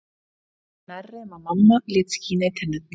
Ég fer nærri um að mamma lét skína í tennurnar